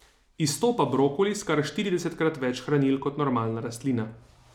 Izstopa brokoli s kar štiridesetkrat več hranil kot normalna rastlina.